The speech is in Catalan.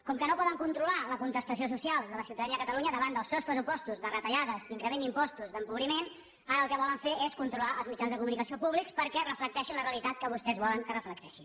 com que no poden controlar la contestació social de la ciutadania de catalunya davant dels seus pressupostos de retallades d’increment d’impostos d’empobriment ara el que volen fer és controlar els mitjans de comunicació públics perquè reflecteixin la realitat que vostès volen que reflecteixin